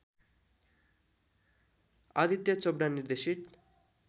आदित्य चोपडा निर्देशित